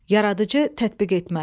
Yaradıcı tətbiq etmə.